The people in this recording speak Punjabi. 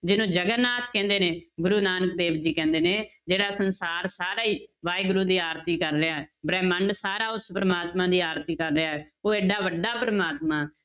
ਜਿਹਨੂੰ ਜਗਨਾਥ ਕਹਿੰਦੇ ਨੇ, ਗੁਰੂ ਨਾਨਕ ਦੇਵ ਜੀ ਕਹਿੰਦੇ ਨੇ ਜਿਹੜਾ ਸੰਸਾਰ ਸਾਰਾ ਹੀ ਵਾਹਿਗੁਰੂ ਦੀ ਆਰਤੀ ਕਰ ਰਿਹਾ ਹੈ, ਬ੍ਰਹਿਮੰਡ ਸਾਰਾ ਉਸ ਪ੍ਰਮਾਤਮਾ ਦੀ ਆਰਤੀ ਕਰ ਰਿਹਾ ਹੈ, ਉਹ ਏਡਾ ਵੱਡਾ ਪ੍ਰਮਾਤਮਾ,